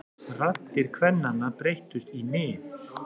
Raddir kvennanna breyttust í nið.